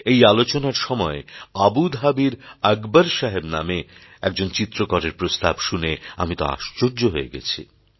এই আলোচনার সময় আবুধাবির আকবর সাহেব নামে একজন চিত্রকরের প্রস্তাব শুনে আমি তো আশ্চর্য হয়ে গেছি